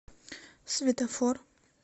светофор